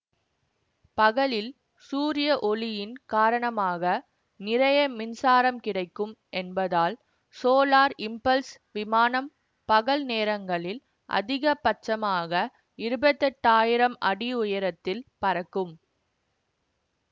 பகலில் சூரிய ஒளியின் காரணமாக நிறைய மின்சாரம் கிடைக்கும் என்பதால் சோலார் இம்பல்ஸ் விமானம் பகல் நேரங்களில் அதிக பட்சமாக இருபத்தி எட்டயிரம் அடி உயரத்தில் பறக்கும்